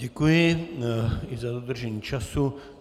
Děkuji i za dodržení času.